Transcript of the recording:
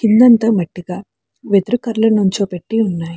కిందంతా మట్టిగా వేదురు కర్రలు నుంచో పెట్టి ఉన్నాయి.